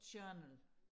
journal